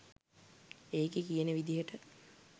ඒකෙ කියන විදියට